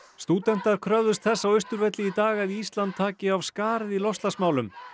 stúdentar kröfðust þess á Austurvelli í dag að Ísland taki af skarið í loftslagsmálum